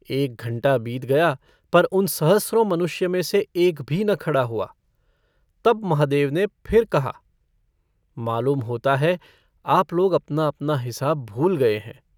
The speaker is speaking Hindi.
एक घंटा बीत गया पर उन सहस्रों मनुष्य में से एक भी न खड़ा हुआ। तब महादेव ने फिर कहा - मालूम होता है आप लोग अपना-अपना हिसाब भूल गए हैं।